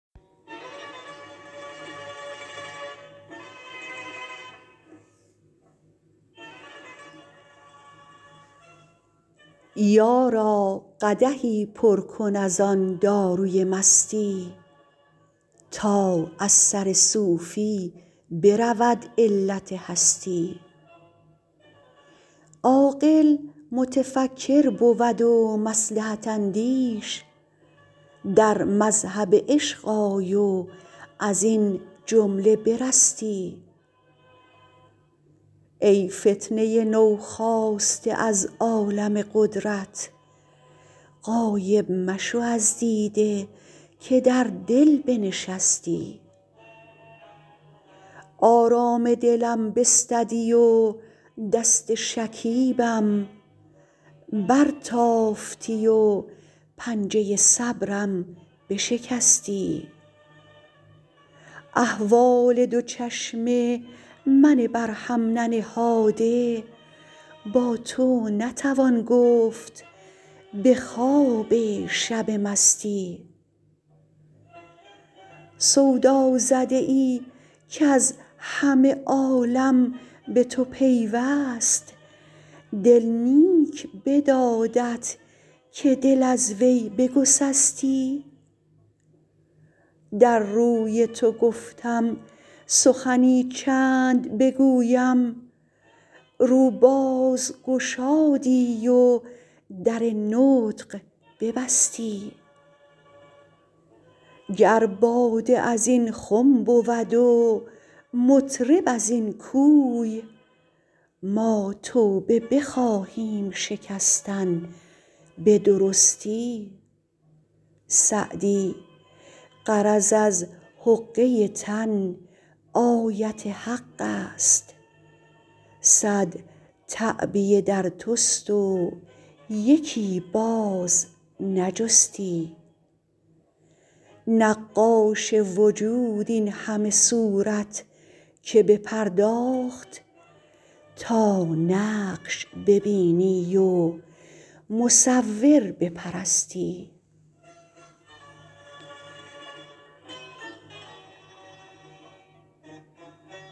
یارا قدحی پر کن از آن داروی مستی تا از سر صوفی برود علت هستی عاقل متفکر بود و مصلحت اندیش در مذهب عشق آی و از این جمله برستی ای فتنه نوخاسته از عالم قدرت غایب مشو از دیده که در دل بنشستی آرام دلم بستدی و دست شکیبم برتافتی و پنجه صبرم بشکستی احوال دو چشم من بر هم ننهاده با تو نتوان گفت به خواب شب مستی سودازده ای کز همه عالم به تو پیوست دل نیک بدادت که دل از وی بگسستی در روی تو گفتم سخنی چند بگویم رو باز گشادی و در نطق ببستی گر باده از این خم بود و مطرب از این کوی ما توبه بخواهیم شکستن به درستی سعدی غرض از حقه تن آیت حق است صد تعبیه در توست و یکی باز نجستی نقاش وجود این همه صورت که بپرداخت تا نقش ببینی و مصور بپرستی